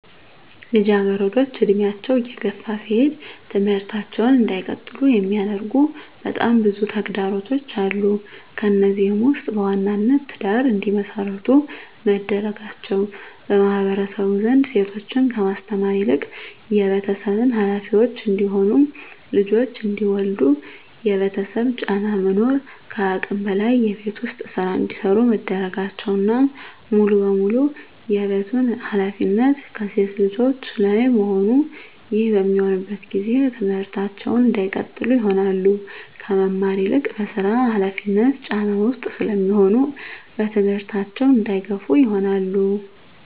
ልጃገረዶች እድሜያቸው እየገፋ ሲሄድ ትምህርታቸውን እንዳይቀጥሉ የሚያደርጉ በጣም ብዙ ተግዳሮቶች አሉ። ከነዚህም ውስጥ በዋናነት ትዳር እንዲመሰርቱ መደረጋቸው በማህበረሰቡ ዘንድ ሴቶችን ከማስተማር ይልቅ የቤተሰብ ሀላፊዎች እንዲሆኑ ልጆች እንዲወልዱ የቤተሰብ ጫና መኖር ከአቅም በላይ የቤት ውስጥ ስራ እንዲሰሩ መደረጋቸውና ሙሉ በሙሉ የቤቱን ሀላፊነት ከሴት ልጆች ላይ መሆኑ ይህ በሚሆንበት ጊዜ ትምህርታቸውን እንዳይቀጥሉ ይሆናሉ። ከመማር ይልቅ በስራ ሀላፊነት ጫና ውስጥ ስለሚሆኑ በትምህርታቸው እንዳይገፋ ይሆናሉ።